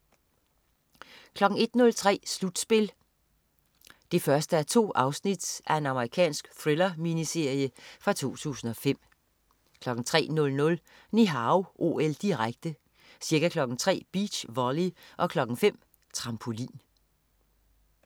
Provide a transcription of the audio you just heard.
01.30 Slutspil 1:2. Amerikansk thriller-miniserie fra 2005 03.00 Ni Hao OL, direkte. Ca. kl. 03.00: Beach volley og kl. 05.00: Trampolin